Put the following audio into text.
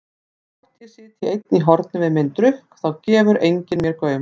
Og þótt ég sitji einn í horni við minn drukk þá gefur enginn mér gaum.